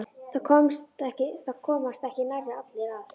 Það komast ekki nærri allir að.